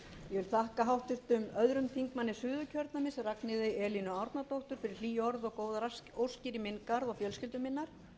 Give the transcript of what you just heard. ég þakka háttvirtum öðrum þingmönnum suðurkjördæmis ragnheiði elínu árnadóttur fyrir hlý orð og góðar óskir í minn garð og fjölskyldu minnar